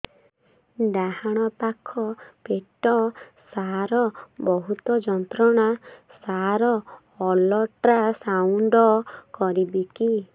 ଡାହାଣ ପାଖ ପେଟ ସାର ବହୁତ ଯନ୍ତ୍ରଣା ସାର ଅଲଟ୍ରାସାଉଣ୍ଡ କରିବି କି